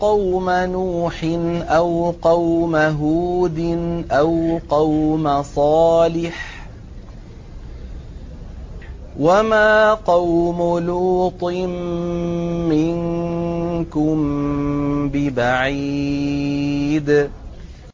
قَوْمَ نُوحٍ أَوْ قَوْمَ هُودٍ أَوْ قَوْمَ صَالِحٍ ۚ وَمَا قَوْمُ لُوطٍ مِّنكُم بِبَعِيدٍ